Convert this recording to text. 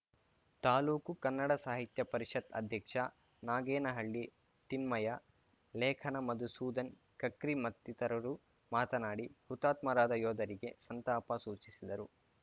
ತಾಲೂಕು ಕನ್ನಡ ಸಾಹಿತ್ಯ ಪರಿಷತ್‌ ಅಧ್ಯಕ್ಷ ನಾಗೇನಹಳ್ಳಿ ತಿಮ್ಮಯ ಲೇಖನ ಮಧುಸೂದನ್‌ ಕಕ್ರಿ ಮತ್ತಿತರರು ಮಾತನಾಡಿ ಹುತಾತ್ಮರಾದ ಯೋಧರಿಗೆ ಸಂತಾಪ ಸೂಚಿಸಿದರು